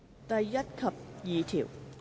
第1及2條。